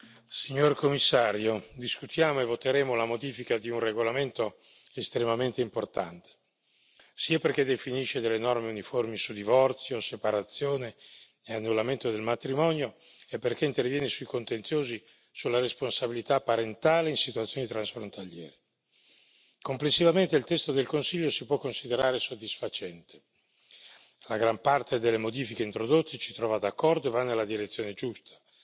Signor Presidente, signor Commissario, onorevoli colleghi, discutiamo e voteremo la modifica di un regolamento estremamente importante, sia perché definisce delle norme uniformi su divorzio, separazione e annullamento del matrimonio, sia perché interviene sui contenziosi sulla responsabilità parentale in situazioni transfrontaliere. Complessivamente il testo del Consiglio si può considerare soddisfacente. La gran parte delle modifiche introdotte ci trova d'accordo e va nella direzione giusta.